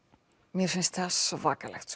mér finnst það svakalegt